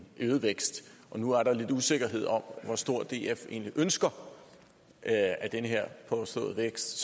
øget vækst nu er der lidt usikkerhed om hvor stor df egentlig ønsker at den her påståede vækst